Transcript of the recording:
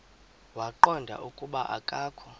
waqonda ukuba akokho